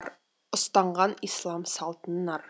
ұстанған ислам салтын нар